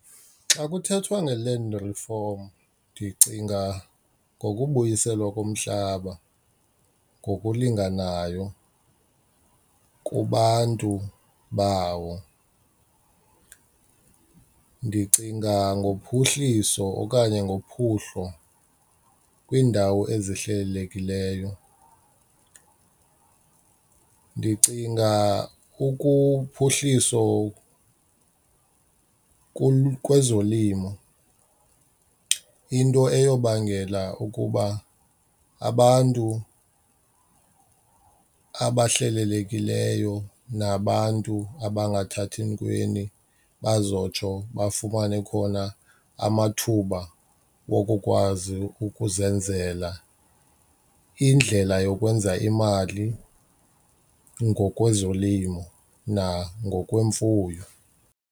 Xa kuthethwa nge-land reform ndicinga ngokubuyiselwa komhlaba ngokulinganayo kubantu bawo. Ndicinga ngophuhliso okanye ngophuhlo kwiindawo ezihlelelekileyo. Ndicinga ukuphuhliso kwezolimo into eyobangela ukuba abantu abahlelelekileyo nabantu abangathathi ntweni bazotsho bafumane khona amathuba wokukwazi ukuzenzela indlela yokwenza imali ngokwezolimo nangokwemfuyo.